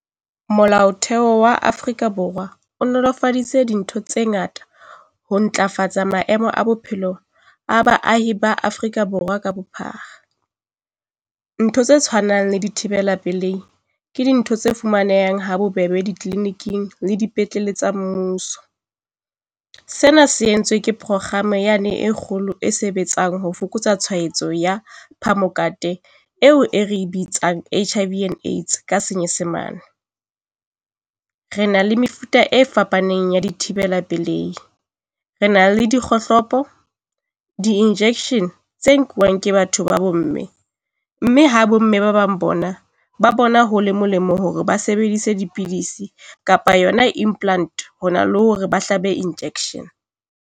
Molaotheo wa Afrika Borwa o nolofaditse dintho tse ngata ho ntlafatsa maemo a bophelo a baahi ba Afrika Borwa ka bophara. Ntho tse tshwanang le dithibela pelei ke dintho tse fumanehang ha bobebe di-clinic-ing le dipetleleng tsa mmuso. Sena se entswe ke prokgama yane e kgolo e sebetsang ho fokotsa tshwaetso ya phamokate eo e re e bitswang HIV - Aids ka Senyesemane. Re na le mefuta e fapaneng ya dithibela pilei. Re na le dikgohlopo, di-injection tse nkuwang ke batho ba bomme, mme ha bomme ba bang bona ba bona ho le molemo hore ba sebedise dipidisi kapa yona implant ho na le hore ba hlabe injection.